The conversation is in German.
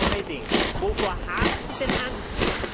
Frau Reding, wovor haben Sie denn Angst?